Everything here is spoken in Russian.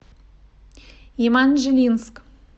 еманжелинск